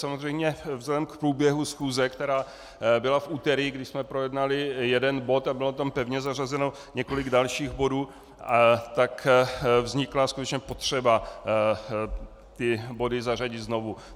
Samozřejmě vzhledem k průběhu schůze, která byla v úterý, kdy jsme projednali jeden bod a bylo tam pevně zařazeno několik dalších bodů, tak vznikla skutečně potřeba ty body zařadit znovu.